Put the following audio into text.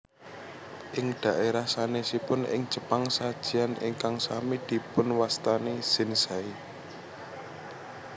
Ing dhaérah sanèsipun ing Jepang sajian ingkang sami dipunwastani zenzai